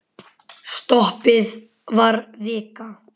Stoppið var vika.